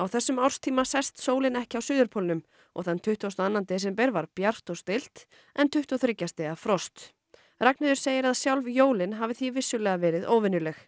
þessum árstíma sest sólin ekki á suðurpólnum og þann tuttugasta og annan var bjart og stillt en tuttugu og þriggja stiga frost Ragnheiður segir að sjálf jólin hafi því vissulega verið óvenjuleg